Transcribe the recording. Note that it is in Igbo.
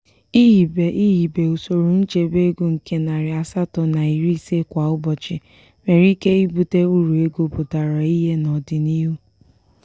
ihibe ihibe usoro nchebe ego nke narị asatọ na iri ise kwa ụbọchị nwere ike ibute uru ego pụtara ihe n'odinihu.